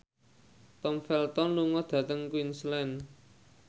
Tom Felton lunga dhateng Queensland